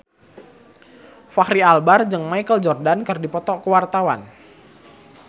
Fachri Albar jeung Michael Jordan keur dipoto ku wartawan